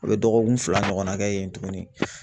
U bɛ dɔgɔkun fila ɲɔgɔnna kɛ yen tugunni.